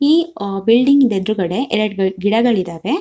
ಈ ಅಹ್ ಬಿಲ್ಡಿಂಗ್ ಇಂದ ಎದ್ರುಗಡೆ ಎರಡ್ ಗಿಡಗಳಿದವೆ.